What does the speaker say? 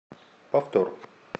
повтор